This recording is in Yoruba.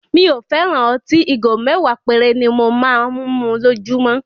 Mi ò fẹ́ràn ọtí; Ìgò mẹ́wàá péré ni mo máa ń mu lójúmọ́.